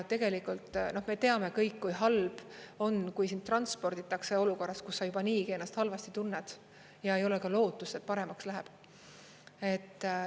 Tegelikult me teame kõik, kui halb on, kui sind transporditakse olukorras, kus sa juba niigi ennast halvasti tunned ja ei ole ka lootust, et paremaks läheb.